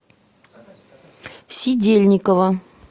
сидельникова